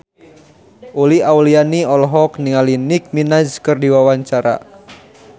Uli Auliani olohok ningali Nicky Minaj keur diwawancara